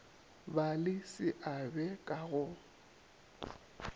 ba le seabe ka go